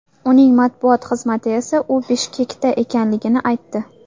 Uning matbuot xizmati esa u Bishkekda ekanligini aytdi.